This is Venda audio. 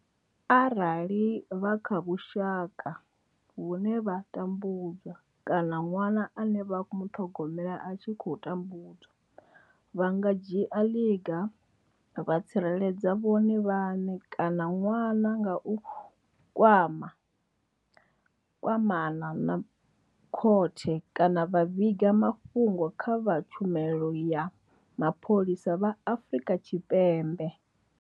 Arali vha kha vhusha ka vhune vha tambu dzwa kana ṅwana ane vha khou muṱhogomela a tshi khou tambudzwa, vha nga dzhia ḽiga vha tsireledza vhone vhaṋe kana ṅwana nga u kwamana na vha khothe kana vha vhiga mafhungo kha vha tshumelo ya mapholisa vha Afrika Tshipembe.